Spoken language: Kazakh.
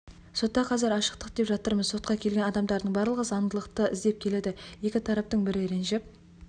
сотта қазір ашықтық деп жатырмыз сотқа келген адамдардың барлығы заңдылықты іздеп келеді екі тараптың бірі ренжіп